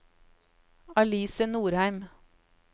Alice Nordheim